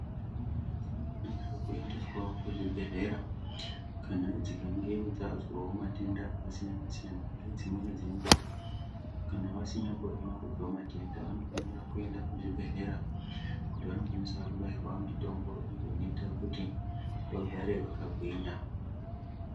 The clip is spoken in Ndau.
Ndumwana dzinofanirwa kuendeswawo kuchibhedhlera kana dzikange dzazwawo matenda akasiyana siyana. Ngedzimweni dzenguwa kana vasinyamborina kuzwa matenda vanofanirwa kuenda kuzvibhedhlera kuti vandokwanisa kubairwa mitombo iyo inota kuti vagare vakagwinya